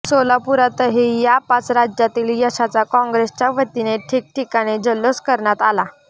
सोलापुरातही या पाच राज्यांतील यशाचा काँग्रेसच्या वतीने ठिकठिकाणी जल्लोष करण्यात आला